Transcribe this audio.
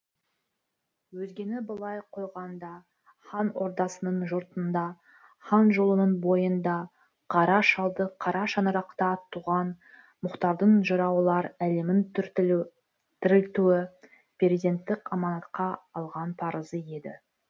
өзгені былай қойғанда хан ордасының жұртында хан жолының бойында қара шалды қара шаңырақта туған мұхтардың жыраулар әлемін тірілтуі перзенттік аманатқа алған парызы еді